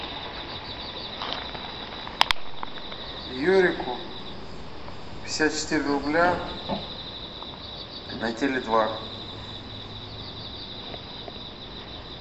юрику пятьдесят четыре рубля на теле два